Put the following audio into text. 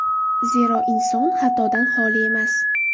Zero, inson xatodan xoli emas.